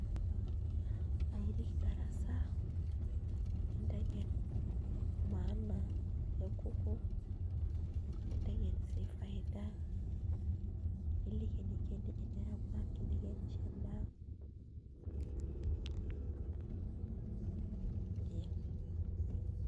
Aairik darasa ninteng'en maana niliki eniko eneramat eniko enenya endaa ee.